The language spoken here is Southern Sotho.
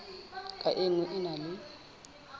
ka nngwe e na le